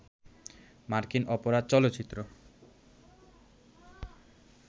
মার্কিন অপরাধ চলচ্চিত্র